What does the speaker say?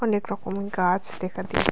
অনেক রকমের গাছ দেখা দি--